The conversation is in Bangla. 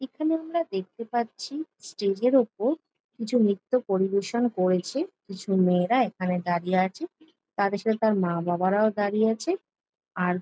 এখানে আমরা দেখতে পাচ্ছি স্টেজ এর ওপর কিছু নিত্য পরিবেশন করেছে কিছু মেয়েরা এখানে দাঁড়িয়ে আছে তাদের সাথে তার মা বাবারাও দাঁড়িয়ে আছে আর--